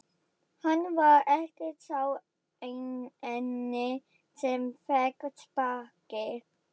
Hann var ekki sá eini sem fékk sparkið.